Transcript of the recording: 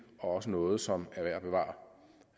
og også noget som